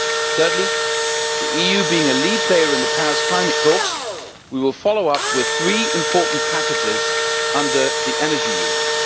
Thirdly, the EU being a lead player in the Paris climate talks, we will follow up with three important packages under the energy union.